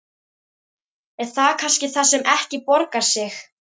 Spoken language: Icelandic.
Er það kannski það sem ekki borgar sig?